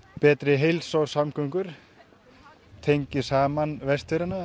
betri heilsa og samgöngur tengir saman Vestfirðina